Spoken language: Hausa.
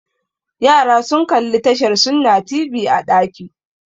Yara sun kalli tashar Sunna TV a ɗaki